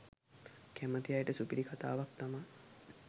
කැමති අයට සුපිරි කතාවක් තමා